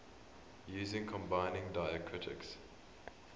using combining diacritics